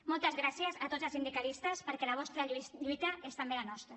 moltes gràcies a tots els sindicalistes perquè la vostra lluita és també la nostra